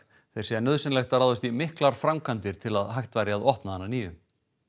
þeir segja nauðsynlegt að ráðast í miklar framkvæmdir til að hægt væri að opna hann að nýju